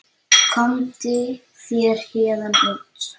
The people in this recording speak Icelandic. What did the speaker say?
Komdu þér héðan út.